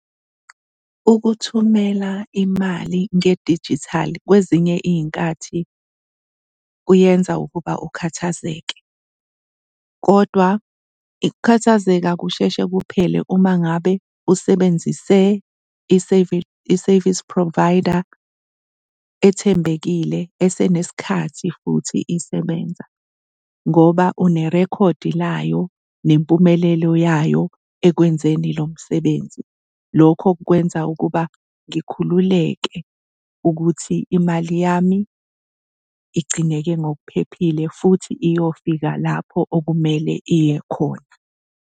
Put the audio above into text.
Ukuthumela imali ngedijithali kwezinye iy'nkathi kuyenza ukuba ukhathazeke, kodwa ukukhathazeka kusheshe kuphele uma ngabe usebenzise i-service provider ethembekile esenesikhathi futhi isebenza ngoba une-record layo nempumelelo yayo ekwenzeni lo msebenzi. Lokho kukwenza ukuba ngikhululeke ukuthi imali yami igcineke ngokuphephile futhi iyofika lapho okumele iye khona.